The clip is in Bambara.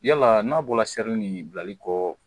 Yala n'a bɔra seri ni bilali kɔ